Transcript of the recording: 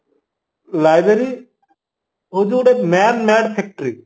library ହଉଚି ଗୋଟେ man made factory